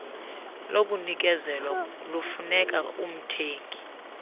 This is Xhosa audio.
lokunikezelwa lufuneka umthengi